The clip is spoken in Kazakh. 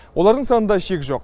олардың санында шек жоқ